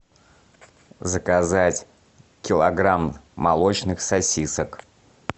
заказать килограмм молочных сосисок